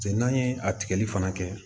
Cɛ n'an ye a tigɛli fana kɛ